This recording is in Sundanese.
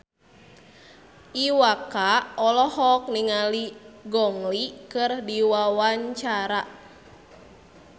Iwa K olohok ningali Gong Li keur diwawancara